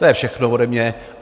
To je všechno ode mě.